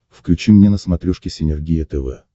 включи мне на смотрешке синергия тв